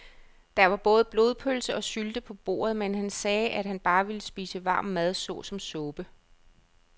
Der var både blodpølse og sylte på bordet, men han sagde, at han bare ville spise varm mad såsom suppe.